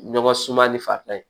Ɲɔgɔn suma ni fa ye